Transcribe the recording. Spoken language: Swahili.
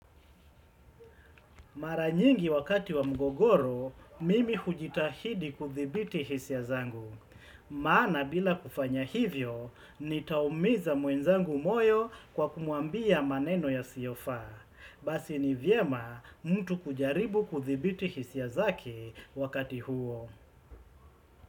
Mara nyingi wakati wa mgogoro, mimi hujitahidi kuthibiti hisia zangu. Maana bila kufanya hivyo, nitaumiza mwenzangu moyo kwa kumwambia maneno yasiyofaa. Basi ni vyema mtu kujaribu kuthibiti hisia zake wakati huo.